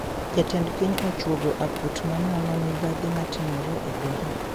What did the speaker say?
Jatend piny ochwogo aput manono mibadhi matimore e doho